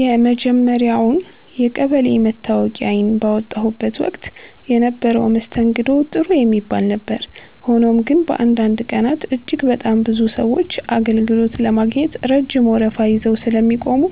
የመጀመርያውን የቀበሌ መታወቂያዬን ባወጣሁበት ወቅት የነበረው መስተንግዶ ጥሩ የሚባል ነበር። ሆኖም ግን፣ በአንዳንድ ቀናት እጅግ በጣም ብዙ ሰዎች አገልግሎት ለማግኘት ረጅም ወረፋ ይዘው ስለሚቆሙ፣